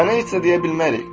Sənə heç nə deyə bilmərik.